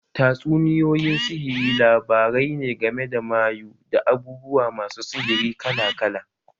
Tatsuniyoyin sihiri labarai ne game da mayu, da abubuwa masu sihiri kala kala